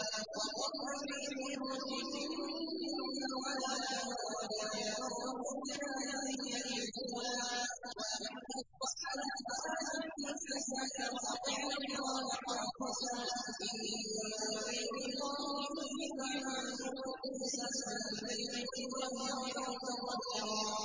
وَقَرْنَ فِي بُيُوتِكُنَّ وَلَا تَبَرَّجْنَ تَبَرُّجَ الْجَاهِلِيَّةِ الْأُولَىٰ ۖ وَأَقِمْنَ الصَّلَاةَ وَآتِينَ الزَّكَاةَ وَأَطِعْنَ اللَّهَ وَرَسُولَهُ ۚ إِنَّمَا يُرِيدُ اللَّهُ لِيُذْهِبَ عَنكُمُ الرِّجْسَ أَهْلَ الْبَيْتِ وَيُطَهِّرَكُمْ تَطْهِيرًا